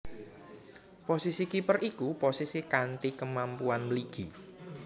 Posisi kiper iku posisi kanthi kemampuan mligi